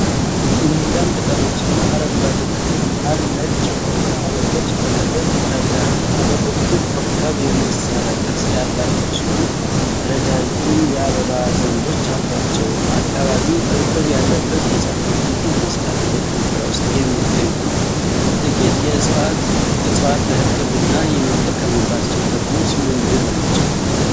ለመለም ቅጠሎችና አረንጓዴ ተክል መሃል ነጭ የሆኑ አበቦች በቅርበት ይታያሉ። አበቦቹ ኮከብ የመሰለ ቅርጽ ያላቸው ሲሆን፣ ረዣዥም የአበባ ዘንጎች አሏቸው። አካባቢው እርጥበት ያለበት የጫካ ክፍል ይመስላል። በኢትዮጵያ ውስጥ የሚገኙት ጥቂት እፅዋት ለሕክምና የሚጠቀሙባቸው ጥቅሞች ምንድን ናቸው?